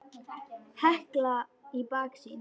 Hekla í baksýn.